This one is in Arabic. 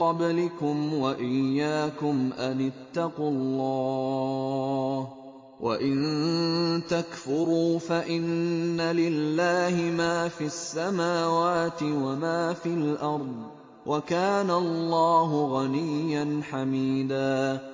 قَبْلِكُمْ وَإِيَّاكُمْ أَنِ اتَّقُوا اللَّهَ ۚ وَإِن تَكْفُرُوا فَإِنَّ لِلَّهِ مَا فِي السَّمَاوَاتِ وَمَا فِي الْأَرْضِ ۚ وَكَانَ اللَّهُ غَنِيًّا حَمِيدًا